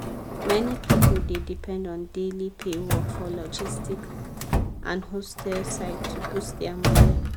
many people dey depend on daily pay work for logistic and hostel side to boost their money.